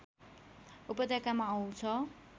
उपत्यकामा आउँछ